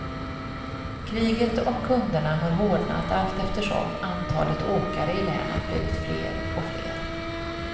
Kriget om kunderna har hårdnat allteftersom antalet åkare i länet blivit fler och fler.